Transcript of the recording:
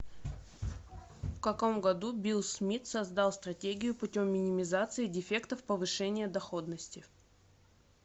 в каком году билл смит создал стратегию путем минимизации дефектов повышения доходности